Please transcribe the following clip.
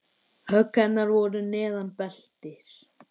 Högg hennar voru neðan beltis.